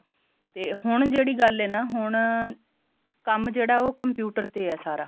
ਤੇ ਹੁਣ ਜਿਹੜੀ ਗੱਲ ਐ ਨਾ ਹੁਣ ਕੰਮ ਜਿਹੜਾ ਹੈ ਉਹ computer ਤੇ ਐ ਸਾਰਾ